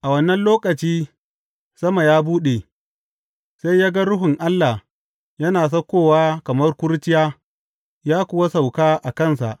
A wannan lokaci sama ya buɗe, sai ya ga Ruhun Allah yana saukowa kamar kurciya ya kuwa sauka a kansa.